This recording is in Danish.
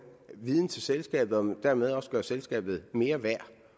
viden til selskabet og dermed også gøre selskabet mere værd